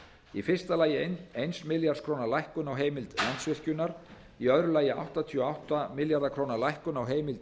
í fyrsta lagi eins milljarðs króna lækkun á heimild landsvirkjunar í öðru lagi áttatíu og átta milljarða króna lækkun á heimild